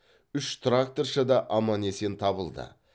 үш тракторшы да аман есен табылды